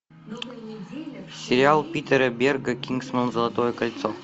сериал питера берга кингсман золотое кольцо